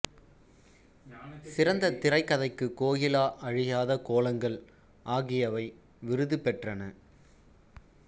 சிறந்த திரைக்கதைக்கு கோகிலா அழியாத கோலங்கள் ஆகியவை விருது பெற்றன